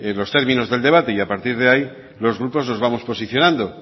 los términos del debate y a partir de ahí los grupos nos vamos posicionando